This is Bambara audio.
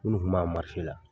Minnu kun b'a la